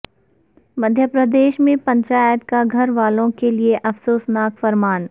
مدھیہ پردیش میں پنچایت کا گھر والوں کے لئے افسوسناک فرمان